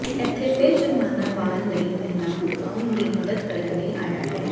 ਇੱਥੇ ਫਿਰ ਜੁਰਮਾਨਾ ਵਾਲ ਲਈ ਮਹਿਲਾ ਵਾਉਣ ਦੀ ਮਦਦ ਕਰਨ ਲਈ ਆਇਆ ਹੈ